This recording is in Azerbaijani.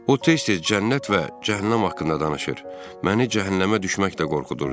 O tez-tez cənnət və cəhənnəm haqqında danışır, məni cəhənnəmə düşməklə qorxudurdu.